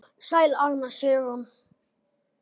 Sæl Anna Sigrún.